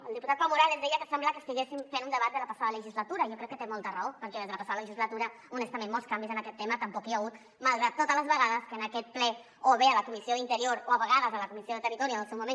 el diputat pau morales deia que sembla que estiguéssim fent un debat de la passada legislatura i jo crec que té molta raó perquè des de la passada legislatura honestament molts canvis en aquest tema tampoc hi ha hagut malgrat totes les vegades que en aquest ple o bé a la comissió d’interior o a vegades a la comissió de territori en el seu moment